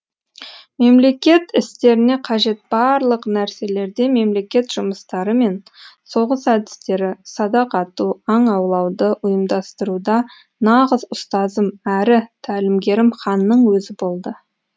мемлекет істеріне қажет барлық нәрселерде мемлекет жұмыстары мен соғыс әдістері садақ ату аң аулауды ұйымдастыруда нағыз ұстазым әрі тәлімгерім ханның өзі болды